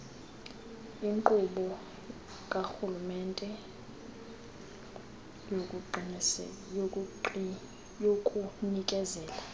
inkqubo karhulumente yokunikezela